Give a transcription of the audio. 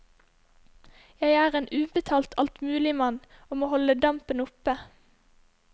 Jeg er en ubetalt altmuligmann, og må holde dampen oppe.